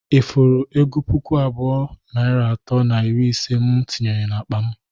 Ị fụrụ ego puku abụọ, narị atọ na iri ise mụ tinyere n'akpa m?